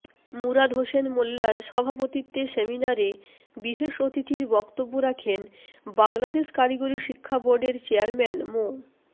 মুরাদ হোসেন মোল্লার সভাপতিত্বে সেমিনারে বিশেষ অতিথির বক্তব্য রাখেন বাংলাদেশ কারিগরি শিক্ষা বোর্ডের চেয়ারম্যান মো